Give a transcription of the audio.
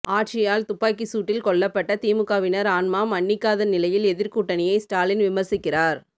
ஆட்சியால் துப்பாக்கிசூட்டில் கொல்லப்பட்ட திமுகவினர் ஆன்மா மன்னிக்காதநிலையில் எதிர்கூட்டணியை ஸ்டாலின் விமர்சிக்கிறார்